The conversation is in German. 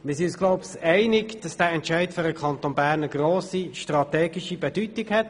Wir sind uns wohl einig, dass dieser Entscheid für den Kanton Bern von grosser strategischer Bedeutung ist.